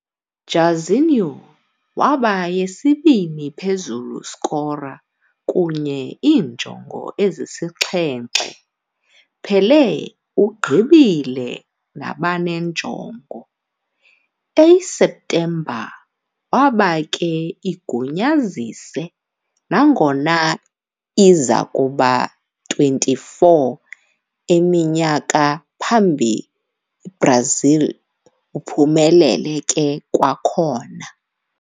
Jairzinho waba yesibini phezulu scorer kunye iinjongo ezisixhenxe, Pelé ugqibile nabane njongo. A septemba waba ke igunyazise, nangona izakuba 24 eminyaka phambi Brazil uphumelele ke kwakhona.